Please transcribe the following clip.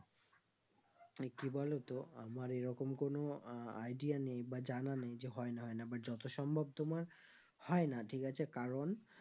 তো কি বলো তো আমার এরকম কোনো আহ idea নেই বা জানা নেই যে হয় না হয় না but যত সম্ভব তোমার হয় না ঠিক আছে কারণ